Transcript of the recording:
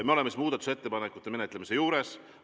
Me oleme muudatusettepanekute menetlemise juures.